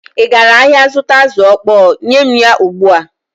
Ị gara ahịa zụta azụ̀ ọkpọọ? Nye m ya ugbu a!